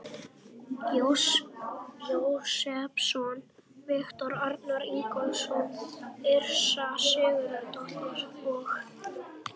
Jósepsson, Viktor Arnar Ingólfsson, Yrsa Sigurðardóttir og